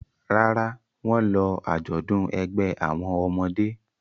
Rárá, wọ́n lọ àjọ̀dún ẹgbẹ́ àwọn ọmọdé.